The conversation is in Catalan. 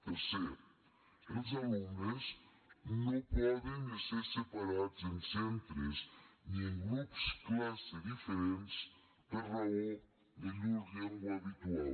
tercer els alumnes no poden ésser separats en centres ni en grups classe diferents per raó de llur llengua habitual